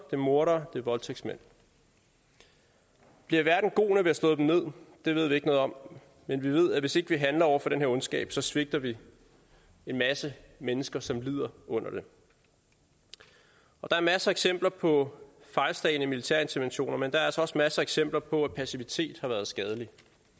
er mordere det er voldtægtsmænd bliver verden god når slået dem ned det ved vi ikke noget om men vi ved at hvis ikke vi handler over for den her ondskab svigter vi en masse mennesker som lider under den der er masser af eksempler på fejlslagne militære interventioner men der er altså også masser af eksempler på at passivitet har været skadeligt